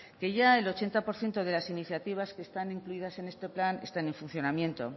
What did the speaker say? que ya el ochenta por ciento de las iniciativas que están incluidas en este plan están en funcionamiento